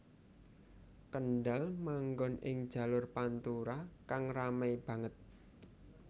Kendal manggon ing jalur pantura kang ramai banget